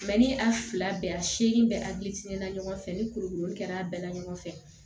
ni a fila bɛɛ a segili bɛ na ɲɔgɔn fɛ ni kuru kɛra a bɛɛ la ɲɔgɔn fɛ